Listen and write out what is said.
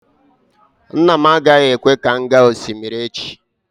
Nna m agaghị ekwe ka m gaa osimiri echi